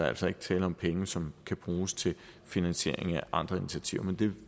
altså ikke tale om penge som kan bruges til finansiering af andre initiativer men det